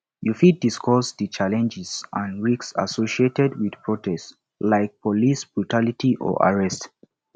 you fit discuss di challenges and risks associated with protest like police brutality or arrest